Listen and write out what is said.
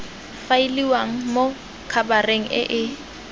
faeliwang mo khabareng e e